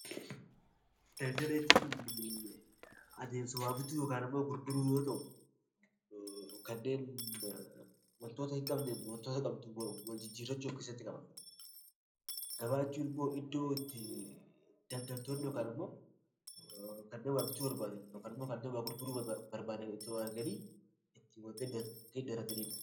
Daldala jechuun adeemsa waa gochuu yookaan daldaluu yoo ta'u, kanneen waantota qabduun waantota hin qabne wal jijjiirannu of keessatti qaba. Gabaa jechuun immoo iddoo itti daldaltoonni yookaan kanneen waa bituu barbaadan , warreen waa gurguruu barbaadanii itti wal argan itti daldalanidha.